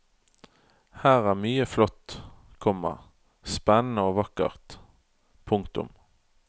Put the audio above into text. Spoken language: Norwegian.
Her er mye flott, komma spennende og vakkert. punktum